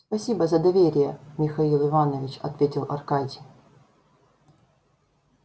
спасибо за доверие михаил иванович ответил аркадий